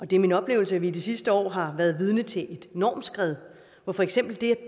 det er min oplevelse at vi i de sidste år har været vidne til et normskred hvor for eksempel det